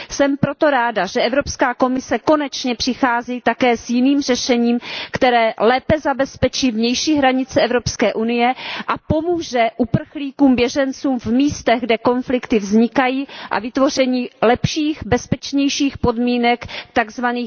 Jsem proto ráda, že Evropská komise konečně přichází také s jiným řešením, které lépe zabezpečí vnější hranice Evropské unie a pomůže uprchlíkům, běžencům v místech, kde konflikty vznikají, a přispěje k vytvoření lepších podmínek v tzv.